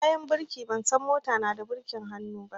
Bayan birki, ban san mota na da birkin hannu